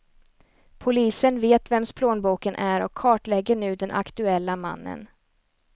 Polisen vet vems plånboken är och kartlägger nu den aktuella mannen.